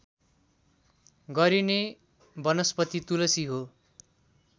गरिने वनस्पति तुलसी हो